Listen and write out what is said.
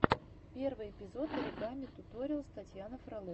первый эпизод оригами туториалс татьяна фролова